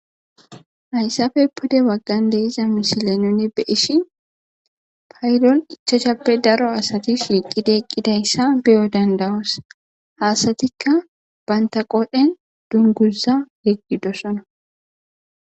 hayssafe pude waggan deiza mishile nuni be ishi payilol ichacshappe daro asati shiiqideeqqidayssa beyo dandawos haasatikka bantaqodhen dungusa yeqgidosona